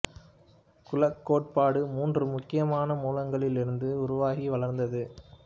குலக் கோட்பாடு மூன்று முக்கியமான மூலங்களில் இருந்து உருவாகி வளர்ந்தது